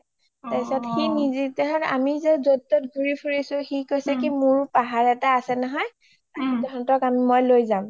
তাৰপিছত আমি যত ত'ত ঘুৰি ফুৰিছো সি কৈছে কি মোৰ পাহাৰ এটা আছে নহয় তহত'ক মই লই যাম